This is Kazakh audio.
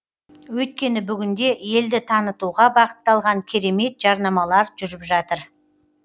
өйткені бүгінде елді танытуға бағытталған керемет жарнамалар жүріп жатыр